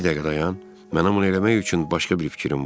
Bir dəqiqə dayan, mənim onu eləmək üçün başqa bir fikrim var.